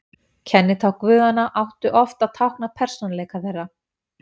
Kennitákn guðanna áttu oft að tákna persónuleika þeirra.